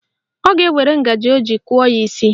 Ọ ga-ewere ngaji o ji kụọ ya n'isi